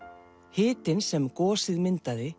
hitinn sem gosið myndaði